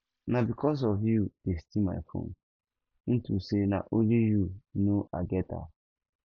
na because of you dey steal my phone into say na only you no i get am